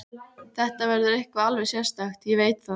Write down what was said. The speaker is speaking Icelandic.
Þetta verður eitthvað alveg sérstakt, ég veit það.